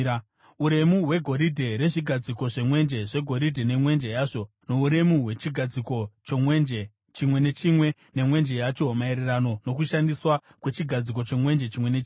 Uremu hwegoridhe rezvigadziko zvemwenje zvegoridhe nemwenje yazvo, nouremu hwechigadziko chomwenje chimwe nechimwe, nemwenje yacho, maererano nokushandiswa kwechigadziko chemwenje chimwe nechimwe.